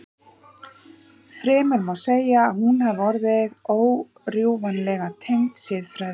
Fremur má segja að hún hafi verið órjúfanlega tengd siðfræði.